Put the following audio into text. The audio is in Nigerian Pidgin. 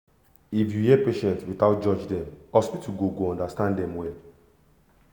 if you hear patient without judge dem hospital go go understand dem well